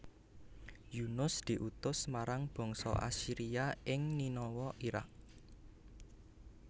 Yunus diutus marang bangsa Assyria ing Ninawa Iraq